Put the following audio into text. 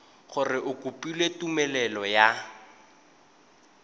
gore o kopile tumelelo ya